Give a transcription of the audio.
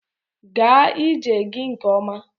Gaa ije gị nke ọma.